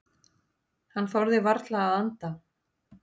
Hann þorði varla að anda.